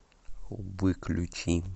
выключи